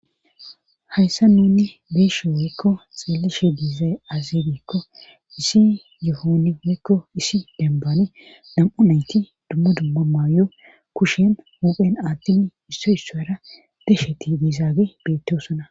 hayssa nuni beeshe woykko xeelleshe diiza azidikko isi yohoni woykko isi denbane dam7u nayti dummo dumma maayo kushen hoophen aattini isso issoyara desheti diizaage beettoosana